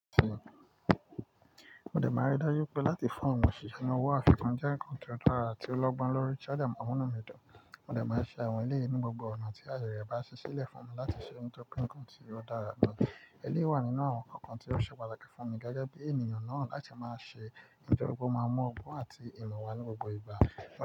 Mo dẹ̀ máa rí dájú pé láti fún àwọn òṣìṣẹ́ owo àfikún jẹ́ nǹkan tó dára tí ó lọ́gbọ́n lórí i. Tí ó dè máa mu inú mi dùn, mo dẹ̀ máa ṣe àwọn eleyìí ni gbogbo ọ̀nà tí ààyè rẹ̀ bá ṣíṣí lẹ̀ fún mi láti ṣe ohun tó nǹkan tí ó dára gan. Eleyìí wà nínú àwon nńkan tó se pàtàkì fún mi gégé bí ènìyàn náà láti máa se, tórí pé ó máa ń mú ogbón àti ìmò wá ní gbogbo ìgbà.